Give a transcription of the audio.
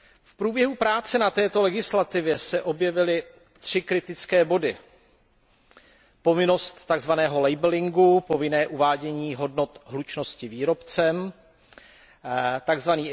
V průběhu práce na této legislativě se objevily 3 kritické body povinnost tzv. labellingu, povinného uvádění hodnot hlučnosti výrobcem, tzv.